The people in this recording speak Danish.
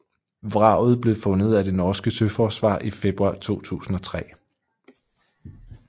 Vraget blev fundet af det norske søforsvar i februar 2003